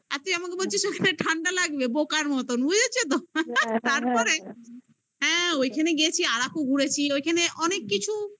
আর তুই আমাকে বলছিস ওখানে ঠান্ডা লাগবে বোকার মতন বুঝেছে তো তারপরে ওইখানে গেছি আরাকু ঘুরেছি ওইখানে অনেক কিছু